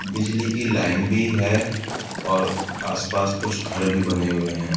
बिजली की लाईन भी है और आस-पास कुछ घर भी बने हुए हैं।